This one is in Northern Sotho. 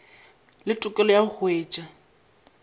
le tokelo ya go hwetša